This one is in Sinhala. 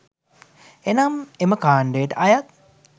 එනම් එම කාණ්ඩයට අයත්